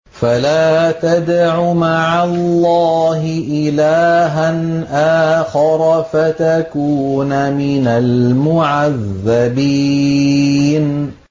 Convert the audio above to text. فَلَا تَدْعُ مَعَ اللَّهِ إِلَٰهًا آخَرَ فَتَكُونَ مِنَ الْمُعَذَّبِينَ